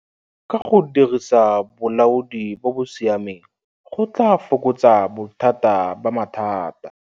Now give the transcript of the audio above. Ka go dirisa bolaodi bo bo siameng go tlaa fokotsa bothata ba mathata.